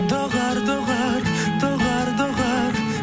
доғар доғар доғар доғар